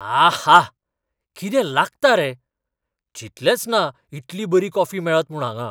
आहा! कितें लागता रे. चिंतलेंच ना इतली बरी कॉफी मेळत म्हूण हांगां.